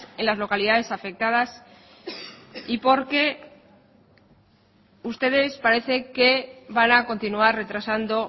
en las localidades afectadas y porque ustedes parece que van a continuar retrasando